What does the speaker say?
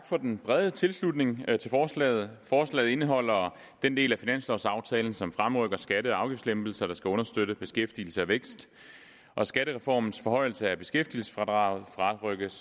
for den brede tilslutning til forslaget forslaget indeholder den del af finanslovsaftalen som fremrykker skatte og afgiftslempelser der skal understøtte beskæftigelse og vækst skattereformens forhøjelse af beskæftigelsesfradraget fremrykkes